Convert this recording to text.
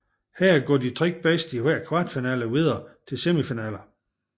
Her går de tre bedste i hver kvartfinale videre til semifinalerne